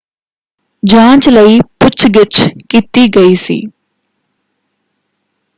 ਜਾਂਚ ਲਈ ਪੁੱਛ-ਗਿੱਛ ਕੀਤੀ ਗਈ ਸੀ।